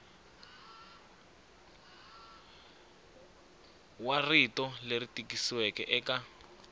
wa rito leri tikisiweke eka